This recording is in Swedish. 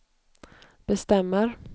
bestämmer